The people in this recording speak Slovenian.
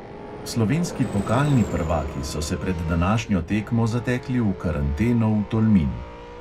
Slovenski pokalni prvaki so se pred današnjo tekmo zatekli v karanteno v tolmin.